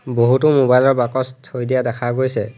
বহুতো মোবাইল ৰ বাকচ থৈ দিয়া দেখা গৈছে।